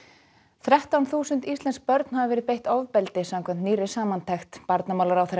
þrettán þúsund íslensk börn hafa verið beitt ofbeldi samkvæmt nýrri samantekt barnamálaráðherra